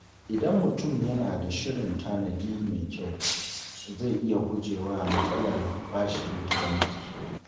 Idan mutum yana da shirin tanadi mai kyau, zai iya guje wa matsalar bashin banki.